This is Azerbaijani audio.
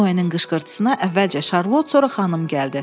Noyenin qışqırtısına əvvəlcə Şarlot, sonra xanım gəldi.